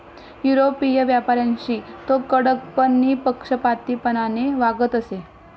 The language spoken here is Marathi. युरोपीय व्यापाऱ्यांशी तो कडक पण निःपक्षपातीपणाने वागत असे.